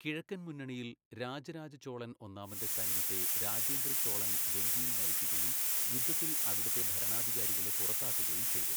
കിഴക്കൻ മുന്നണിയിൽ, രാജരാജ ചോളൻ ഒന്നാമന്റെ സൈന്യത്തെ രാജേന്ദ്ര ചോളൻ വെങ്കിയിൽ നയിക്കുകയും യുദ്ധത്തിൽ അവിടത്തെ ഭരണാധികാരികളെ പുറത്താക്കുകയും ചെയ്തു.